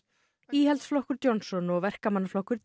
íhaldsflokkur Johnson og verkamannaflokkur